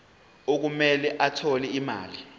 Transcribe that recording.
okumele athole imali